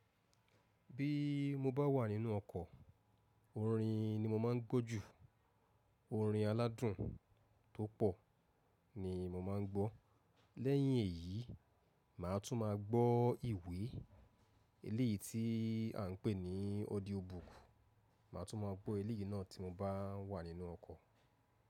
Bí mo bá wà nínú ọkọ̀, orin ni mo máa ń gbọ́ jù. Orin aládùn tó pọ̀ ni mo máa ń gbọ́. Lẹ́yìn èyí, màá tún máa gbọ́ ìwé eléyìí tí à ń pè ní audiobook. Màá tún máa gbọ́ eléyìí náà tí mo bá wà nínú ọkọ̀.